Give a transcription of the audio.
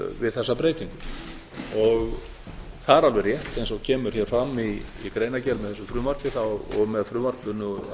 við þessa breytingu það er alveg rétt eins og kemur hér fram í greinargerð með þessu frumvarpi og með frumvarpinu að